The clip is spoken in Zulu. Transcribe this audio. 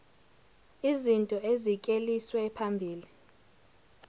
izinto ezikleliswe phambili